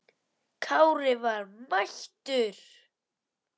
Kári var mættur!